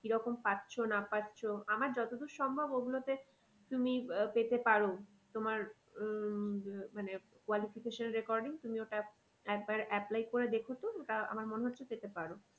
কি রকম পাচ্ছ না পাচ্ছ আমার যত দূর সম্ভব ওইগুলোতে তুমি পেতে পারো তোমার উম মানে qualification recording তুমি ওটা একবার apply করে দেখো তো ওটা আমার মনে হচ্ছে পেতে পারো।